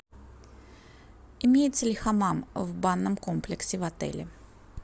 имеется ли хамам в банном комплексе в отеле